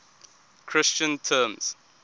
christian terms